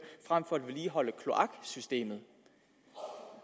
frem for at vedligeholde kloaksystemet